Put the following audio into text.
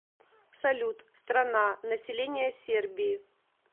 салют страна население сербии